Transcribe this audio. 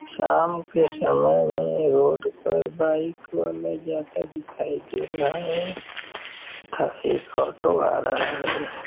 शाम के समय में रोड पर बाइक वाला जाता दिखाई दे रहा है तथा एक ऑटो आ रहा है।